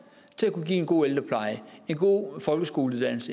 til kunne give en god ældrepleje en god folkeskole